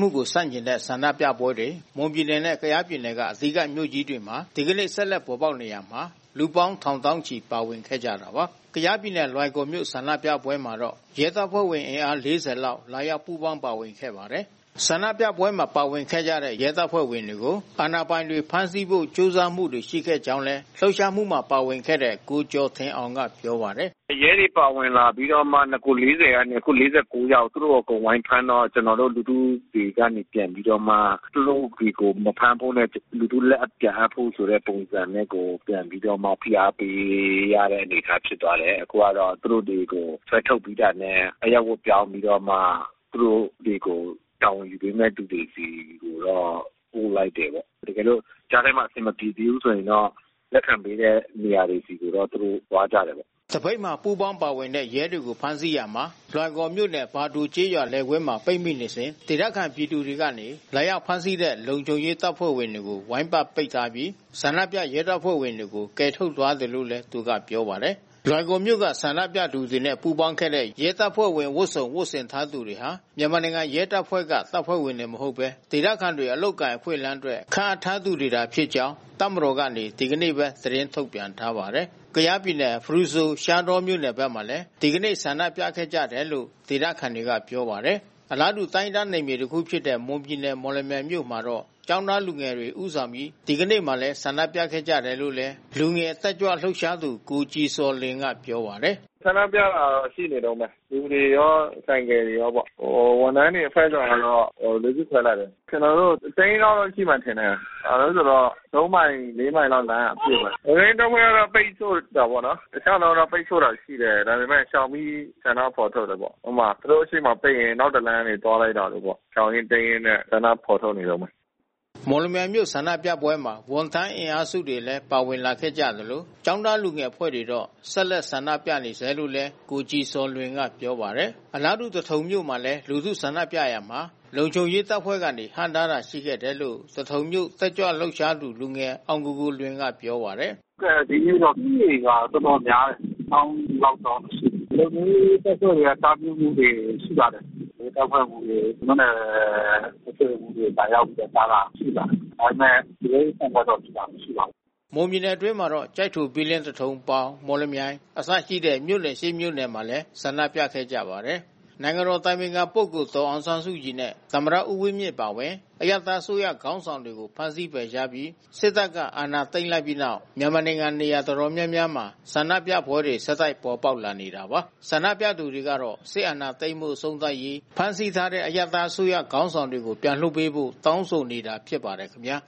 ှုကို ဆန့်ကျင်တဲ့ ဆန္ဒပြပွဲတွေ မွန်ပြည်နယ်နဲ့ ကယားပြည်နယ်က အဓိကမြို့ကြီးတွေမှာ ဒီကနေ့ ဆက်လက်ပေါ် ပေါက် နေရာမှာ လူပေါင်းထောင်သောင်းချီ ပါဝင်ခဲ့ကြတာပါ။ ကယားပြည်နယ်၊ လွိုင်ကော်မြို့ ဆန္ဒပြပွဲမှာတော့ ရဲတပ်ဖွဲ့ဝင် အင်အား ၄၀ ကျော်လာရောက် ပူးပေါင်း ပါဝင်ခဲ့ပါတယ်။ ဆန္ဒပွဲမှာ ပါဝင်ခဲ့ကြတဲ့ ရဲတပ်ဖွဲ့ဝင်တွေကို အာဏာပိုင်တွေ ဖမ်းဆီးဖို့ ကြိုးစားမှုတွေ ရှိခဲ့ကြောင်းလည်း လှုပ်ရှားမှုမှာ ပါဝင်ခဲ့တဲ့ ကိုကျာ်ထင်အောင်က ပြောပါတယ်။ “ရဲတွေပါဝင်လာပြီးတော့ နဂိုလ် ကနေ အခု ယောက် သူတို့ကိုအကုန်ဝိုင်းဖမ်းတော့ ကျွန်တော်တို့ လူထု တွေ ပြန်ပြီးတော့မှ သူတို့တွေကို မဖမ်းဖို့နဲ့ လူထုလက်ပြန်အပ်ဖို့ ပုံစံနဲ့ကို ပြန်ပြီးတော့မှဖိအားပေးရတဲ့ အနေအထားဖြစ်သွားတယ်။ အခုကတော့သူတို့တွေကို ဆွဲထုတ်ပြီးတာနဲ့အရပ်ဝတ်ပြောင်းပြီးတော့ သူတို့တွေကို တာဝန်ယူ ပေးမဲ့သူတွေဆီ ကိုတော့ပို့လိုက်တယ်ပေါ့။ တကယ်လို့ကြားထဲမှာအဆင်မပြေသေးဘူးဆိုရင်တော့ လက်ခံပေးတဲ့ နေရာတွေကိုတော့ သူတို့သွားကြတယ်ပေါ့။” သပိတ်မှာပူးပေါင်းပါဝင်တဲ့ရဲတွေဖမ်းဆီးရာမှာ လွိုင်ကော်မြို့နယ် ဘာဒိုကျေးရွာ လယ်ကွင်းမှာပိတ်မိနေစဉ် ဒေသခံ ပြည်သူတွေကနေ လာရောက်ဖမ်းဆီးတဲ့ လုံခြုံရေးတပ်ဖွဲ့ဝင်တွေကို ဝိုင်းပတ်ပိတ်ထားပြီး ဆန္ဒပြ ရဲတပ်ဖွဲ့ဝင်တွေကို ကယ်ထုတ်သွားတယ်လို့လည်း ပြောပါတယ်။ လွိုင်ကော်မြို့က ဆန္ဒပြသူတွေနဲ့ ပူးပေါင်းခဲ့တဲ့ ရဲတပ်ဖွဲ့ဝင်ဝတ်စုံ ဝတ်ဆင်ထားသူတွေဟာ မြန်မာနိုင်ငံရဲတပ်ဖွဲ့က တပ်ဖွဲ့ဝင်တွေ မဟုတ်ဘဲ ဒေသခံတွေ အလုပ်အကိုင်အခွင့်အလမ်းအတွက် ခန့်အပ်ထားသူတွေသာ ဖြစ်ကြောင်း တပ်မတော်က ဒီကနေ့ပဲ သတင်းထုတ်ပြန်ထားပါတယ်။ ကယားပြည်နယ် ဖရူဆို ရှားတောမြို့နယ်ဖက်မှာလည်း ဒီကနေ့ ဆန္ဒပြခဲ့ကြတယ်လို့ ဒေသခံတွေက ပြောပါတယ်။ အလားတူ တိုင်းရင်းသားနယ်မြေတခုဖြစ်တဲ့ မွန်ပြည်နယ်မော်လမြိုင်မြို့မှာတော့ ကျောင်းသားလူငယ်တွေ ဦးဆောင်ပြီး ဒီကနေ့မှာလဲ ဆန္ဒပြခဲ့ကြတယ်လို့လည်း လူငယ် တက်ကြွလှုပ်ရှားသူ ကိုကြည်ဇော်လွင်က ပြောပါတယ်။ “ဆန္ဒပြတာတော့ရှိနေတုန်းဘဲ။ လူတွေရော ဆိုင်ကယ်တွေရောပေါ့။ ဝန်ထမ်းတွေအဖွဲ့စုတွေကတော့ လူစုခွဲလိုက်တယ်။ ကျွန်တော်တို့ တသိန်းလောက်တော့ရှိမယ်ထင်တယ်။ ဘာဖြစ်လဲဆိုတော့ သုံးမိုင် လေးမိုင်လမ်းကအပြည့်ဘဲ။ လုံခြုံရေးတပ်ဖွဲ့ကပိတ်ဆို့တာပေါ့နော်။ တခြားလမ်းကပိတ်ဆို့တာရှိတယ်။ ဒါပေမဲ့ရှောင်ပြီးဆန္ဒဖော်ထုတ်တာပေါ့။ ဥပမာ သူတို့ရှေ့ကနေပိတ်ရင် နောက်တလမ်းကနေ သွားလိုက်တာမျိုးပေါ့။ ရှောင်ရင်းတိမ်းရင်းနဲ့ ဆန္ဒဖော်ထုတ်နေတုန်းဘဲ။” မော်လမြိုင်မြို့ဆန္ဒပြပွဲမှာ ဝန်ထမ်းအင်အားစုတွေလဲပါဝင်လာခဲ့ကြသလို ကျောင်းသားလူငယ်အဖွဲ့တွေတော့ ဆက် လက်ဆန္ဒပြနေဆဲလို့ကိုကြည်ဇော်လွင်ကဆိုပါတယ်။ အလားတူသထုံမြို့မှာလဲ လူထုဆန္ဒပြရာမှာ လုံခြုံရေးတပ်ဖွဲ့ကနေ ဟန့်တားတာရှိခဲ့တယ်လို့ သထုံမြို့တက်ကြွ လှုပ်ရှားသူ လူငယ် အောင်ကိုကိုလွင်ကပြောပါတယ်။ “ဟုတ်ကဲ့ ဒီနေ့တော့ဦးရေကတော်တော်များတယ်။ သောင်းဂဏန်းလောက်တော့ရှိမယ်။ လုံခြုံရေးတပ်ဖွဲ့တွေ တား မြစ်တာတွေရှိပါတယ်။ ရဲတပ်ဖွဲ့မှူးတွေ မြို့နယ်အုပ်ချုပ်ရေးမှူးတွေ လာရောက်ပြီးတာဒတာရှိပါတယ်။ ဒါပေမဲ့ ရုန်းရင်းဆန်ခတ်တော့ မရှိပါဘူး။” မွန်ပြည်နယ်အတွင်းမှာတော့ ကျိုက်ထို ဘီလင်း သထုံ ပေါင် မော်လမြိုင် အစရှိတဲမြို့နယ် မြို့နယ်မှာလည်း ဆန္ဒပြခဲ့ကြပါတယ်။ နိုင်ငံတော်အတိုင်ပင်ခံဒေါ်အောင်ဆန်းစုကြည်နဲ့ သမ္မတဦးဝင်းမြင့်အပါဝင် အရပ်သားအစိုးရခေါင်းဆောင်တွေကို ဖမ်းဆီးဖယ်ရှားပြီး စစ်တပ်က အာဏာသိမ်းလိုက်ပြီးနောက် မြန်မာနိုင်ငံ နေရာတော်တော်များများမှာ ဆန္ဒပြပွဲတွေ ဆက်တိုက်ပေါ်ပေါက်နေတာပါ။ ဆန္ဒပြသူတွေကတော့ စစ်အာဏာသိမ်းမှု အဆုံးသတ်ရေး၊ ဖမ်းဆီးထားတဲ့ အရပ်သားအစိုးရ ခေါင်းဆောင်တွေကို ပြန်လွှတ်ပေးဖို့ တောင်းဆိုနေတာ ဖြစ်ပါတယ်ခင်ဗျာ